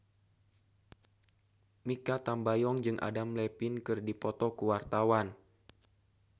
Mikha Tambayong jeung Adam Levine keur dipoto ku wartawan